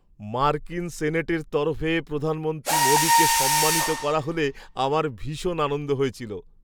মার্কিন সেনেটের তরফে প্রধানমন্ত্রী মোদীকে সম্মানিত করা হলে আমার ভীষণ আনন্দ হয়েছিল।